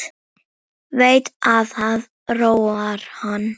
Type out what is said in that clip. Veit að það róar hann.